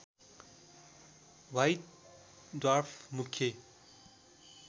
white dwarf मुख्य